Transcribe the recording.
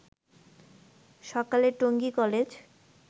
সকালে টঙ্গী কলেজ